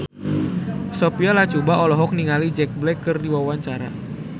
Sophia Latjuba olohok ningali Jack Black keur diwawancara